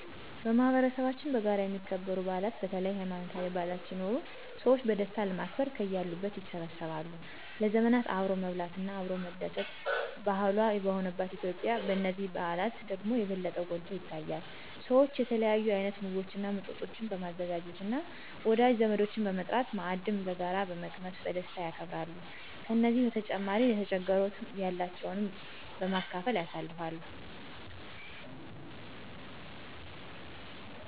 በማህበረሰባችን በጋራ የሚከበሩ በዓላት በተለይ ሀይማኖታዊ በዓላት ሲኖሩ ሰዎች በደስታ ለማክበር ከያሉበት ይሰበሰባሉ። ለዘመናት አብሮ መብላት እና አብሮ መደስት ባህሏ በሆነባት ኢትዮጲያ በነዚህ በዓላት ደግሞ የበለጠ ጐልቶ ይታያል። ሰዎች የተለያዩ አይነት ምግቦች እና መጠጦችን በማዘጋጃት እና ወዳጅ ዘመዶችን በመጥራት ማዕድን በጋራ በመቅመስ በደስታ ያከብራሉ። ከዚህ በተጨማሪ ለተቸገሩትንም ያላቸውን በማካፈል ያሳልፍሉ።